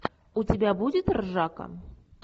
у тебя будет ржака